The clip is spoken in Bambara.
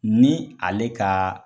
Ni ale ka